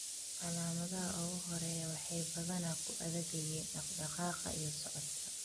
Calaamadaha ugu horreeya waxay badanaa ku adag yihiin dhaqdhaqaaqa iyo socodka.